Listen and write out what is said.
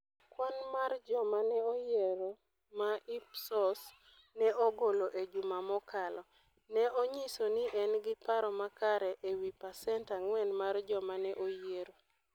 Kwan mar joma ne oyiero ma Ipsos ne ogolo e juma mokalo, ne onyiso ni en gi paro makare e wi pasent 4 mar joma ne oyiero.